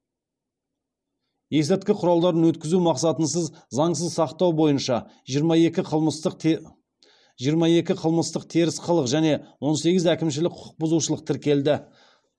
есірткі құралдарын өткізу мақсатынсыз заңсыз сақтау бойынша жиырма екі қылмыстық теріс қылық және он сегіз әкімшілік құқық бұзушылық тіркелді